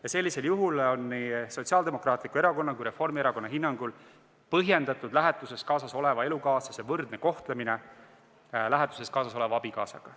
Ja sellisel juhul on nii Sotsiaaldemokraatliku Erakonna kui Reformierakonna hinnangul põhjendatud lähetuses kaasas oleva elukaaslase võrdne kohtlemine lähetuses kaasas oleva abikaasaga.